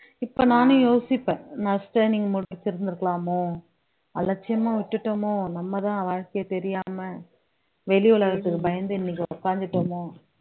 இப்ப நானும் யோசிப்பேன் நான் முடிச்சிருந்திருக்கலாமோ அலட்சியமா விட்டுட்டமோ நம்மதான் வாழ்க்கையை தெரியாம வெளி உலகத்துக்கு பயந்து இன்னைக்கு உட்கார்ந்துட்டோமோ